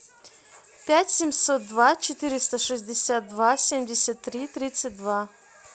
пять семьсот два четыреста шестьдесят два семьдесят три тридцать два